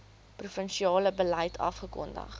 provinsiale beleid afgekondig